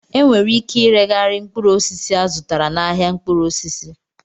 E nwere ike ireghari mkpụrụ osisi azutara n'ahịa mkpụrụ osisi